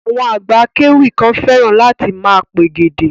Àwọn àgbà akéwì kan fẹ́ràn láti máa pègèdè.